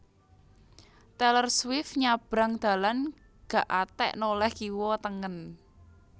Taylor Swift nyabrang dalan gak atek noleh kiwa tengen